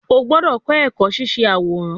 O gbọdọ kọ ẹkọ ṣiṣe aworan